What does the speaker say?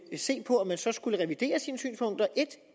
se på om man så skulle revidere sine synspunkter